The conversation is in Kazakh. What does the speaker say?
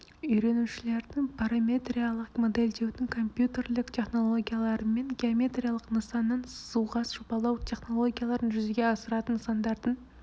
үйренушілердің параметриялық модельдеудің компьютерлік технологияларымен геометриялық нысаннан сызуға жобалау технологияларын жүзеге асыратын нысандардың